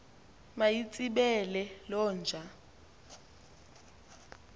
mayitsibele loo nja